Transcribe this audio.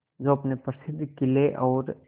जो अपने प्रसिद्ध किले और